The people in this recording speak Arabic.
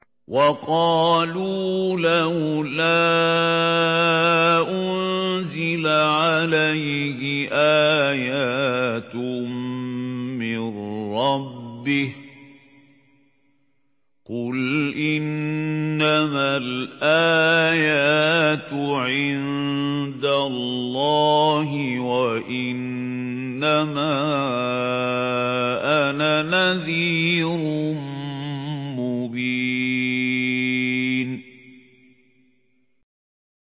وَقَالُوا لَوْلَا أُنزِلَ عَلَيْهِ آيَاتٌ مِّن رَّبِّهِ ۖ قُلْ إِنَّمَا الْآيَاتُ عِندَ اللَّهِ وَإِنَّمَا أَنَا نَذِيرٌ مُّبِينٌ